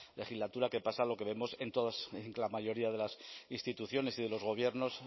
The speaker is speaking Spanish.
legislatura que pasa lo que vemos en la mayoría de las instituciones y de los gobiernos